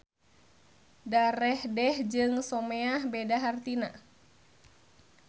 Darehdeh jeung someah beda hartina